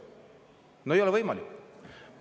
No ei ole võimalik!